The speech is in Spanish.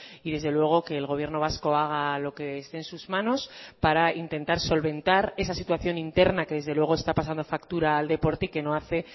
y desde luego que el gobierno vasco haga lo que esté en sus manos para intentar solventar esa situación interna que desde luego está pasando factura al deporte y que no hace